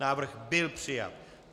Návrh byl přijat.